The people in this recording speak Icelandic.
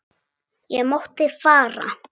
Ég mátti fara.